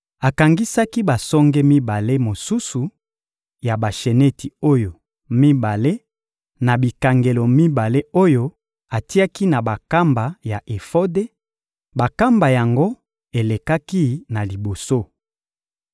Akangisaki basonge mibale mosusu ya basheneti oyo mibale na bikangelo mibale oyo atiaki na bankamba ya efode; bankamba yango elekaki na liboso.